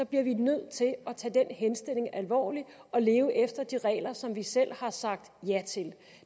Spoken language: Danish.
bliver vi nødt til at tage den henstilling alvorligt og leve efter de regler som vi selv har sagt ja til